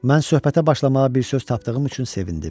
Mən söhbətə başlamağa bir söz tapdığım üçün sevindim.